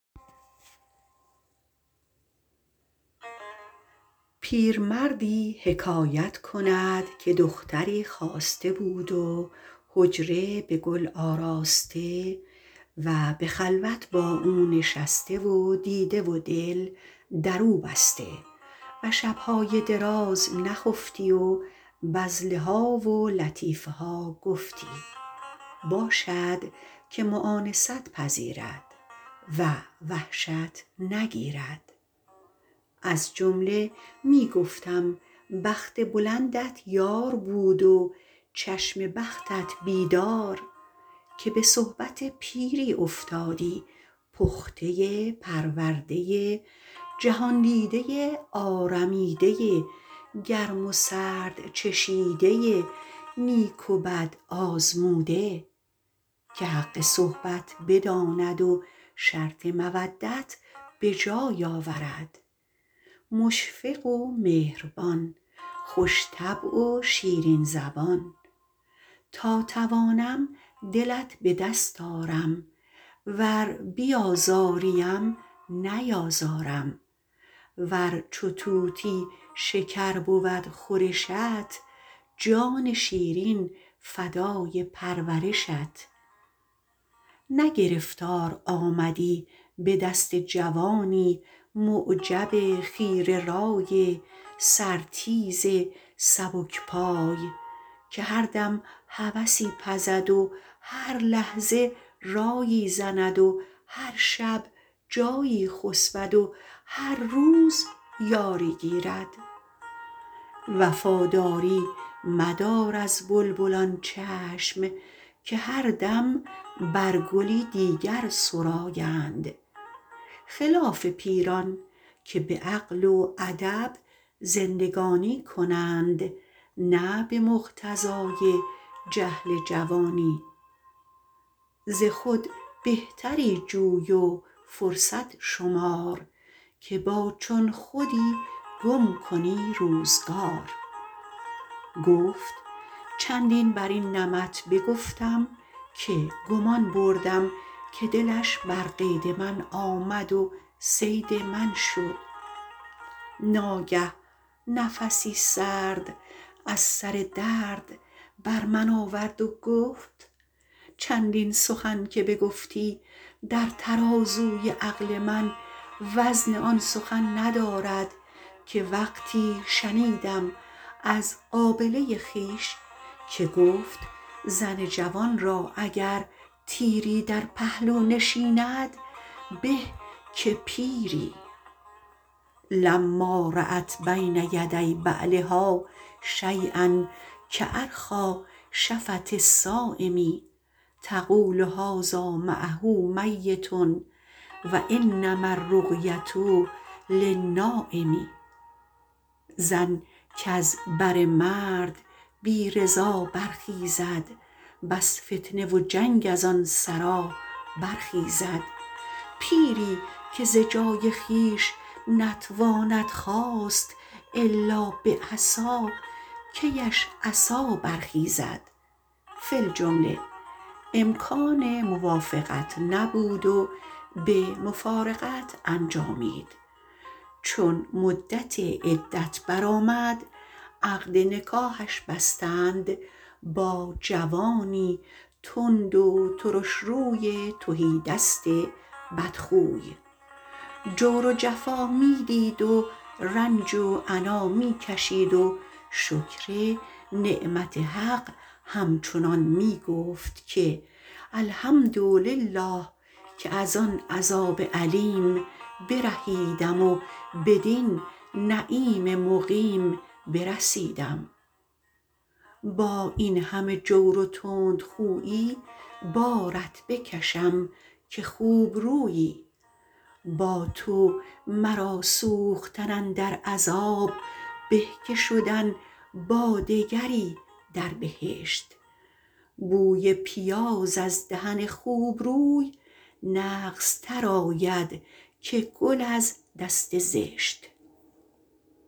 پیرمردی حکایت کند که دختری خواسته بود و حجره به گل آراسته و به خلوت با او نشسته و دیده و دل در او بسته و شبهای دراز نخفتی و بذله ها و لطیفه ها گفتی باشد که مؤانست پذیرد و وحشت نگیرد از جمله می گفتم بخت بلندت یار بود و چشم بختت بیدار که به صحبت پیری افتادی پخته پرورده جهاندیده آرمیده گرم و سرد چشیده نیک و بد آزموده که حق صحبت بداند و شرط مودت به جای آورد مشفق و مهربان خوش طبع و شیرین زبان تا توانم دلت به دست آرم ور بیازاری ام نیازارم ور چو طوطی شکر بود خورشت جان شیرین فدای پرورشت نه گرفتار آمدی به دست جوانی معجب خیره رای سر تیز سبک پای که هر دم هوسی پزد و هر لحظه رایی زند و هر شب جایی خسبد و هر روز یاری گیرد وفاداری مدار از بلبلان چشم که هر دم بر گلی دیگر سرایند خلاف پیران که به عقل و ادب زندگانی کنند نه به مقتضای جهل جوانی ز خود بهتری جوی و فرصت شمار که با چون خودی گم کنی روزگار گفت چندین بر این نمط بگفتم که گمان بردم که دلش بر قید من آمد و صید من شد ناگه نفسی سرد از سر درد بر آورد و گفت چندین سخن که بگفتی در ترازوی عقل من وزن آن سخن ندارد که وقتی شنیدم از قابله خویش که گفت زن جوان را اگر تیری در پهلو نشیند به که پیری لما رأت بین یدی بعلها شییا کأرخیٰ شفة الصایم تقول هذا معه میت و انما الرقیة للنایم زن کز بر مرد بی رضا برخیزد بس فتنه و جنگ از آن سرا برخیزد پیری که ز جای خویش نتواند خاست الا به عصا کی اش عصا برخیزد فی الجمله امکان موافقت نبود و به مفارقت انجامید چون مدت عدت بر آمد عقد نکاحش بستند با جوانی تند و ترشروی تهیدست بدخوی جور و جفا می دید و رنج و عنا می کشید و شکر نعمت حق همچنان می گفت که الحمدلله که از آن عذاب الیم برهیدم و بدین نعیم مقیم برسیدم با این همه جور و تندخویی بارت بکشم که خوبرویی با تو مرا سوختن اندر عذاب به که شدن با دگری در بهشت بوی پیاز از دهن خوبروی نغزتر آید که گل از دست زشت